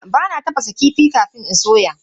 Aa, bana tafasa kifi kafin in soya.